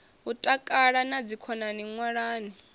u takala na dzikhonani ṅwalani